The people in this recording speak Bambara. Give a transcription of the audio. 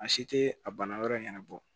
A si te a yɔrɔ in ɲɛnabɔ